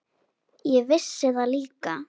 Ég vissi það líka.